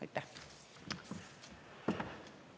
Aitäh!